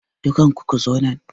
Dukkanku ku zo nan!